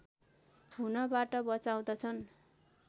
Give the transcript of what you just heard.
हुनबाट बचाउँदछन्